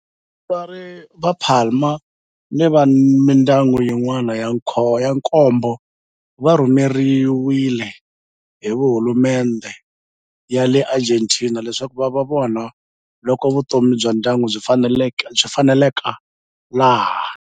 Vatswari va Palma ni mindyangu yin'wana ya nkombo va rhumeriwe hi hulumendhe ya le Argentina leswaku va ya vona loko vutomi bya ndyangu byi faneleka laha.